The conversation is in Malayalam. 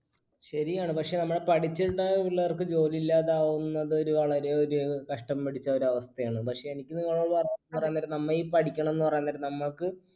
ശരിയാണ്. പക്ഷെ നമ്മടെ പഠിച്ചിറങ്ങുന്ന പിള്ളേർക്ക് ജോലിയില്ലാതെ ആവുന്നത് ഒരു വളരെ ഒരു കഷ്ടം പിടിച്ച ഒരു അവസ്ഥയാണ്. പക്ഷെ എനിക്ക് നിങ്ങളോട് പറയാൻ നേരം നമ്മ ഈ പഠിക്കണമെന്ന് പറയാൻ നേരം നമ്മക്ക്